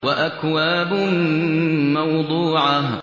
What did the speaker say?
وَأَكْوَابٌ مَّوْضُوعَةٌ